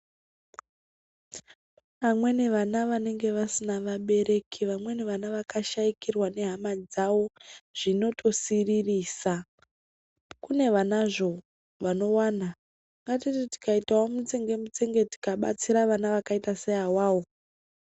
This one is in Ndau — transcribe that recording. Amweni vana vanenge vasina vabereki vamweni vana vaka shaikirwa nehama dzavo zvinotosiririsa kune vanazvo vanowana katiti tikaitawo mutsenge tsenge tikabatsira vana vakaita seawavo.